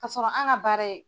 K'asɔrɔ an ka baara ye